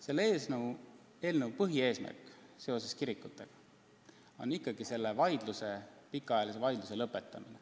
Selle eelnõu kirikutega seotud põhieesmärk on pikaajalise vaidluse lõpetamine.